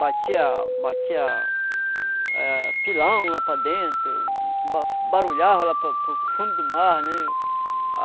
Batia batia eh pilão lá para dentro, ba barulhava lá para para o fundo do mar, né?